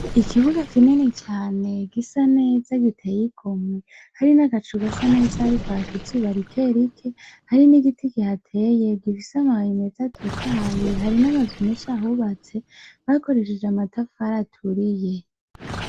Ikibuga kinini cane, gisa neza giteye ingomwe, hari n'agacu gasa neza, hariko haka izuba rikerike, hari n'igiti kihateye gifise amababi meza atotahaye hari n'amazu menshi ahubatse bakoresheje amatafari aturiye.